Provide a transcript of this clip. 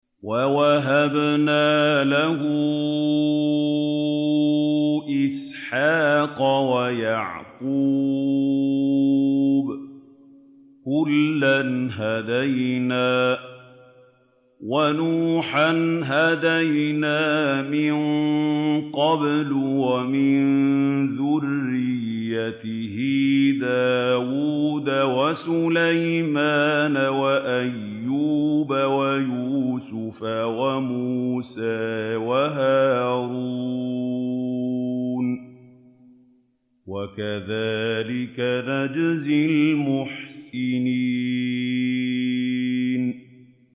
وَوَهَبْنَا لَهُ إِسْحَاقَ وَيَعْقُوبَ ۚ كُلًّا هَدَيْنَا ۚ وَنُوحًا هَدَيْنَا مِن قَبْلُ ۖ وَمِن ذُرِّيَّتِهِ دَاوُودَ وَسُلَيْمَانَ وَأَيُّوبَ وَيُوسُفَ وَمُوسَىٰ وَهَارُونَ ۚ وَكَذَٰلِكَ نَجْزِي الْمُحْسِنِينَ